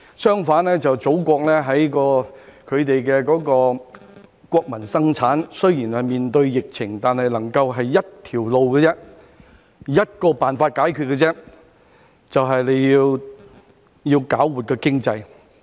相反，祖國在國民生產方面，雖然面對疫情，但決心只走向一條路，以一個辦法解決，便是要搞活經濟。